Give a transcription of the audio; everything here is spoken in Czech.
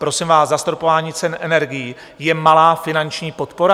Prosím vás, zastropování cen energií je malá finanční podpora?